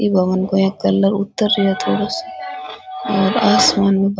ई भवन को इया कलर उत्तर रिया है थोड़ा सो और आसमान में ब --